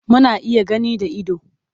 Muna iya gani da ido.